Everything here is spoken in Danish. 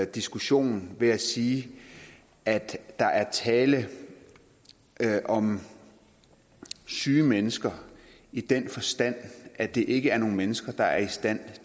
diskussionen ved at sige at der er tale om syge mennesker i den forstand at det ikke er nogle mennesker der er i stand